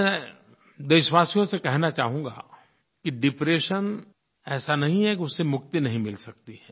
मैं देशवासियों से कहना चाहूँगा कि डिप्रेशन ऐसा नहीं है कि उससे मुक्ति नहीं मिल सकती है